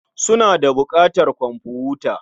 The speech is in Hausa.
Suna da buƙatar komfuta.